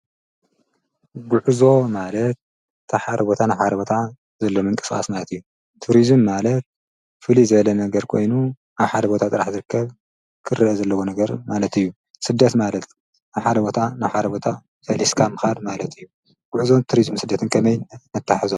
ጉዕዞ ማለት ካብ ሓደ ቦታ ናብ ሓደ ቦታ ዘሎ ምንቅስቓስ እዩ። ቱሪዝም ማለት ፍልይ ዝበለ ነገር ኮይኑ ኣብዚ ሓደ ቦታ ጥራሕ ክረአ ዘለዎ ነገር ማለት እዩ። ስደት ማለት ካብ ሓደ ቦታ ናብ ሓደ ቦታ ፈሊስካ ምኻድ ማለት እዩ። ስደትን ጉዕዞ ቱሪዝምን ከመይ ነተሓሕዞ?